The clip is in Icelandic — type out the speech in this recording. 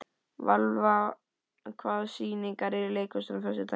Valva, hvaða sýningar eru í leikhúsinu á föstudaginn?